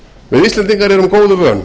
við íslendingar erum góðu vön